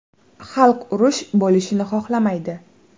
Xalq urush bo‘lishini xohlamaydi.